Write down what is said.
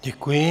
Děkuji.